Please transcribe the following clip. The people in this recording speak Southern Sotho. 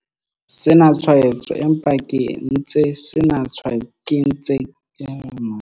Sena tshwaetso empa ke ntse sena tshwaetso empa ke ntse ke ena le matshwao.